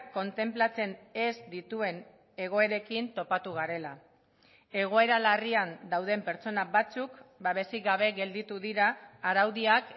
kontenplatzen ez dituen egoerekin topatu garela egoera larrian dauden pertsona batzuk babesik gabe gelditu dira araudiak